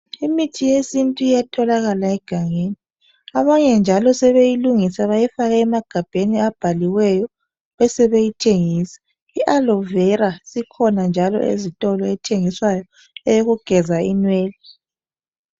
Imithi yesintu iyatholakala egangeni. Abanye njalo sebeyilungisa bayifake emagabheni abhaliweyo besebeyithengisa. I Aloe vera sikhona njalo ezitolo ethengiswayo eyogeza inwele.